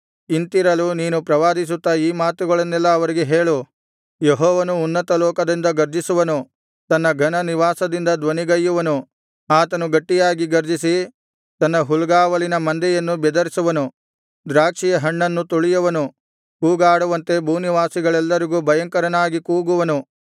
ಇಂತಿರಲು ನೀನು ಪ್ರವಾದಿಸುತ್ತಾ ಈ ಮಾತುಗಳನ್ನೆಲ್ಲಾ ಅವರಿಗೆ ಹೇಳು ಯೆಹೋವನು ಉನ್ನತಲೋಕದಿಂದ ಗರ್ಜಿಸುವನು ತನ್ನ ಘನನಿವಾಸದಿಂದ ಧ್ವನಿಗೈಯುವನು ಆತನು ಗಟ್ಟಿಯಾಗಿ ಗರ್ಜಿಸಿ ತನ್ನ ಹುಲ್ಗಾವಲಿನ ಮಂದೆಯನ್ನು ಬೆದರಿಸುವನು ದ್ರಾಕ್ಷಿಯ ಹಣ್ಣನ್ನು ತುಳಿಯುವವರು ಕೂಗಾಡುವಂತೆ ಭೂನಿವಾಸಿಗಳೆಲ್ಲರಿಗೂ ಭಯಂಕರನಾಗಿ ಕೂಗುವನು